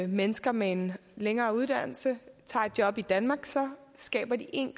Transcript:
mennesker med en længere uddannelse tager et job i danmark så skaber de en